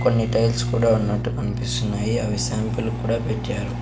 కొన్ని టైల్స్ కూడా ఉన్నట్టు కన్పిస్తున్నాయి అవి శాంపుల్ క్కూడా పెట్టారు.